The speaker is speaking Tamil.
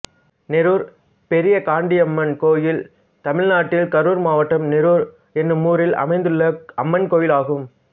நெரூர் பெரியகாண்டியம்மன் கோயில் தமிழ்நாட்டில் கரூர் மாவட்டம் நெரூர் என்னும் ஊரில் அமைந்துள்ள அம்மன் கோயிலாகும்